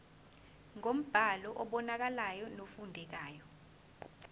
ngombhalo obonakalayo nofundekayo